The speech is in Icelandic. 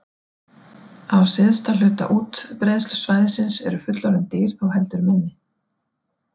Á syðsta hluta útbreiðslusvæðisins eru fullorðin dýr þó heldur minni.